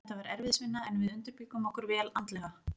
Þetta var erfiðisvinna, en við undirbjuggum okkur vel andlega.